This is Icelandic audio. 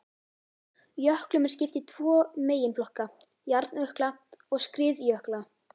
Jöklum er skipt í tvo meginflokka, hjarnjökla og skriðjökla.